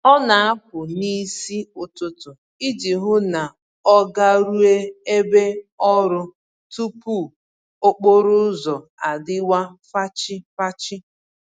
Ọ na-apụ n'isi ụtụtụ iji hụ na ọ garueu ebe ọrụ tupu okporo ụzọ adịwa fachi-fachi